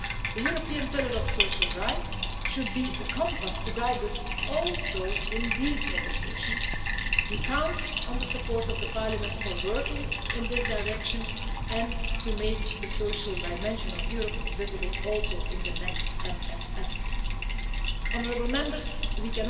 The European Pillar of Social Rights should be a compass to guide us also in these negotiations. We count on the support of the Parliament for working in this direction and to make the social dimension of Europe visible also in the next Multiannual Financial framework